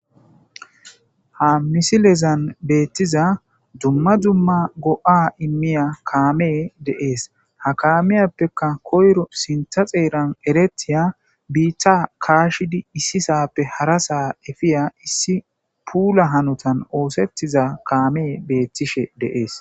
Ha misilezan beettiza dumma dumma go'a immiya kaamee deees ha kaamiyappekka koyro sintha xeeran eretiya biitta kaashidi issisappe hara saa efiya issi puula hanotan oosettiza kaamee beettishe deees.